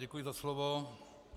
Děkuji za slovo.